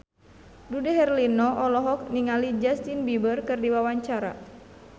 Dude Herlino olohok ningali Justin Beiber keur diwawancara